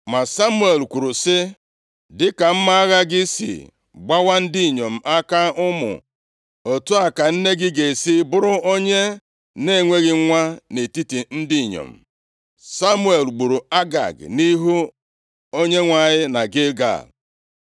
Ma Samuel kwuru sị, “Dịka mma agha gị sị gbawa ndị inyom aka ụmụ otu a ka nne gị ga-esi bụrụ onye na-enweghị nwa nʼetiti ndị inyom.” Samuel gburu Agag nʼihu Onyenwe anyị na Gilgal.